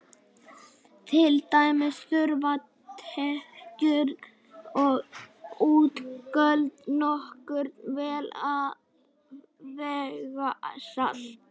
Til dæmis þurfa tekjur og útgjöld nokkurn veginn að vega salt.